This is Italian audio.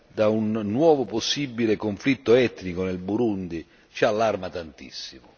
da un nuovo possibile conflitto etnico nel Burundi ci allarma tantissimo.